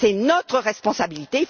C'est notre responsabilité.